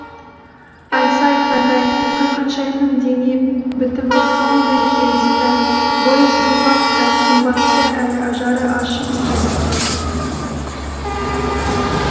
айтса айтқандай ханшайымның дене бітімі сондай келісті бойы сұңғақ та сымбатты әрі ажары ашық екен